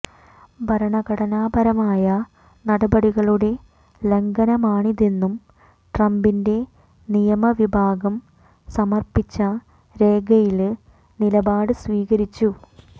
ഭരണഘടനാപരമായ നടപടികളുടെ ലംഘനമാണിതെന്നും ട്രംപിന്റെ നിയമവിഭാഗം സമര്പ്പിച്ച രേഖയില് നിലപാട് സ്വീകരിച്ചു